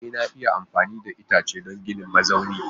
E ana iya amfani da itace don ginin mazaunin